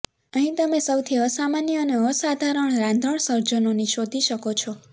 અહીં તમે સૌથી અસામાન્ય અને અસાધારણ રાંધણ સર્જનોની શોધી શકો છો